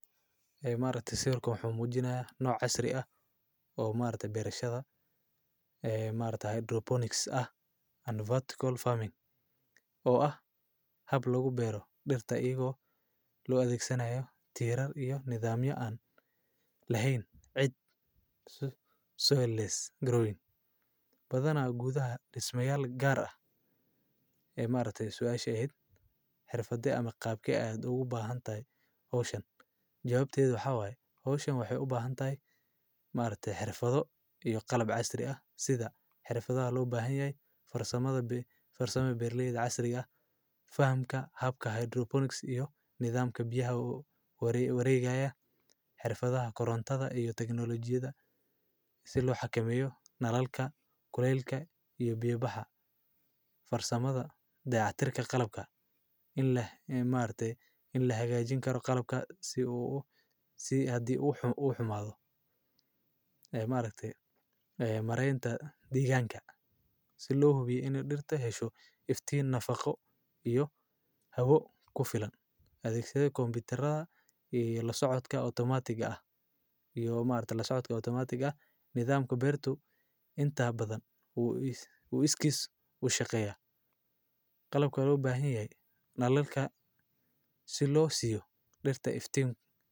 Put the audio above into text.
Xubnood wuxuu ku tilmaamayaa inay nooc casri ah oo maarta beerashada, ee maarta hydroponics ah and vertical farming. Oo ah hab lagu beero dhirta iyo loo adkixsanyahay tirade iyo nidaam yo aan lahayn cid suileless growing. Badanaa awoodda dhismayaal gaar ah. Ee maanta soo ash ahayd xirfadii ama qaabka ay aad ugu baahan taay ocean. Jawaabtyadu waxaa waaye ocean wuxuu u baahan taay maareetay xirfado iyo qalab casri ah sida xirfada loo baahanyahay farsamada bi, farsamo berleed casri ah. Fahamka habka hydroponics iyo nidaamka byaha ugu wareegayah xirfada, korontada iyo tagnolojiyadda si loo xakameeyo nallalka, kuleelka iyo byebaha. Farsamada daacatirka qalabka in leh e maartay in la hagaajin karo qalabka si uu u, si haddii uu u xumaado. Ee maareetay, ee mareynta deegaanka si loo hubiyey in dhirta hesho iftiin nafaqo iyo habo ku filan. Adkikstayada koonfurada iyo la socodka automatic ah iyo maarta la soconka automatic ah. Nidaamku beertu intaa badan uu iskis u shaqeeya qalabka loo baahanyahay nallalka si loo siiyo dhirta iftiin.